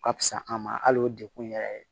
Ka fisa an ma hali o degun yɛrɛ